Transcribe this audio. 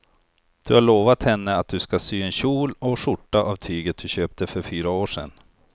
Du har lovat henne att du ska sy en kjol och skjorta av tyget du köpte för fyra år sedan.